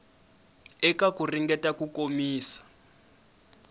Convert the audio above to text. eka ku ringeta ku komisa